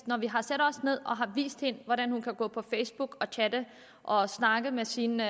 når vi har sat os ned og vist hende hvordan hun kan gå på facebook og chatte og snakke med sine